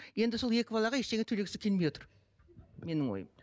енді сол екі балаға ештеңе төлегісі келмей отыр менің ойым